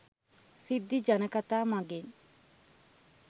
සිද්ධි ජනකතා මඟින්